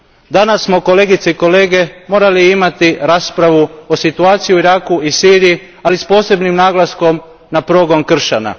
Danas smo kolegice i kolege morali imati raspravu o situaciji u Iraku i Siriji, ali s posebnim naglaskom na progon kršćana.